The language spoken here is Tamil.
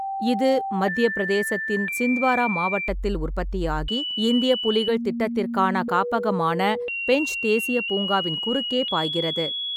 இது மத்தியப் பிரதேசத்தின் சிந்த்வாரா மாவட்டத்தில் உற்பத்தியாகி, இந்திய புலிகள் திட்டத்திற்கான காப்பகமான பென்ச் தேசிய பூங்காவின் குறுக்கே பாய்கிறது.